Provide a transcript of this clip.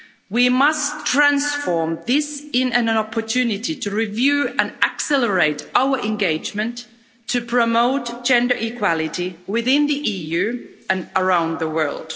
We must transform this into an opportunity to review and accelerate our engagement to promote gender equality within the EU and around the world.